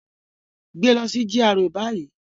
Gbe lọ si GRA bayi!